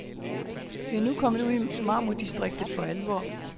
Vi er nu kommet ud i marmordistriktet for alvor.